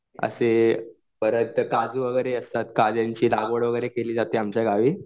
असे परत काजू वगैरे असतात. काजू वगैरे ची लागवड केली जाते आमच्या गावी.